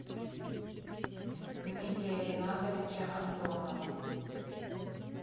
дмитрия ринатовича антонова